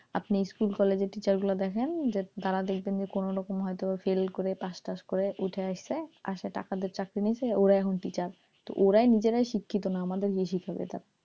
আপনি স্কুল কলেজের teacher গুলা দেখেন যে তারা দেখবেন যে কোনো রকম ফেল করে হয় তো পাস টাস করে উইঠা আসছে আর সে টাকা দিয়ে চাকরি নিসে ওরাই এখন teacher ওরাই নিজেরাই শিক্ষিত না আমাদের কি শিখাবে,